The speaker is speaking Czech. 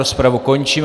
Rozpravu končím.